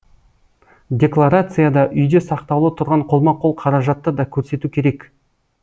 декларацияда үйде сақтаулы тұрған қолма қол қаражатты да көрсету керек